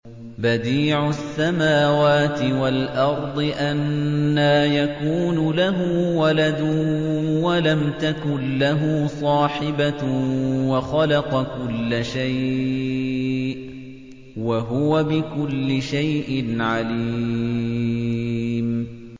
بَدِيعُ السَّمَاوَاتِ وَالْأَرْضِ ۖ أَنَّىٰ يَكُونُ لَهُ وَلَدٌ وَلَمْ تَكُن لَّهُ صَاحِبَةٌ ۖ وَخَلَقَ كُلَّ شَيْءٍ ۖ وَهُوَ بِكُلِّ شَيْءٍ عَلِيمٌ